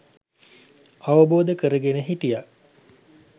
අවබෝධ කරගෙන හිටියා